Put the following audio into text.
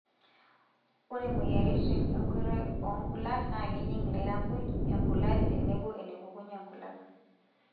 Ore moyiaritin enkoitoi oonkulak naa kejing lairakuj, embulati tenebo enepukunye nkulak.